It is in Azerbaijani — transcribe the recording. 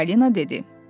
Çippolino dedi.